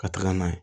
Ka taga n'a ye